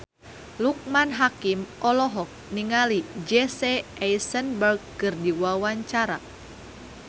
Loekman Hakim olohok ningali Jesse Eisenberg keur diwawancara